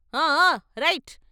ఆ ఆ రైట్.